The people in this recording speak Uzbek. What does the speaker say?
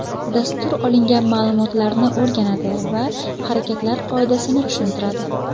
Dastur olingan ma’lumotlarni o‘rganadi va harakatlar qoidasini tushuntiradi.